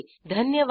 धन्यवाद